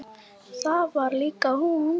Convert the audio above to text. Það var líka hún.